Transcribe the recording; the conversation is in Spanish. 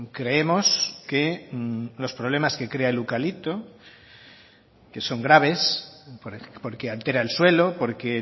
creemos que los problemas que crea el eucalipto que son graves porque altera el suelo porque